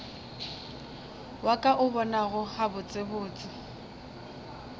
wa ka o bonago gabotsebotse